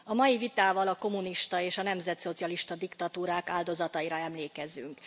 A mai vitával a kommunista és a nemzeti szocialista diktatúrák áldozataira emlékezünk.